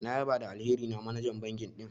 Na ƴaba da alheri na manajan banki din.